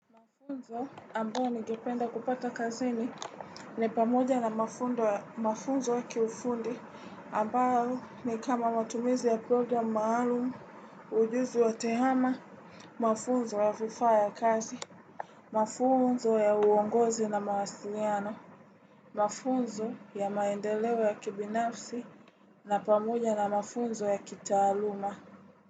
Mafunzo ambayo nigependa kupata kazini ni pamoja na mafunzo wa kiufundi ambao ni kama matumizi ya program maalumu ujuzi wa tehama mafunzo wa vifa ya kazi. Mafunzo ya uongozi na mawasiliano. Mafunzo ya maendeleo ya kibinafsi na pamoja na mafunzo ya kitaaluma.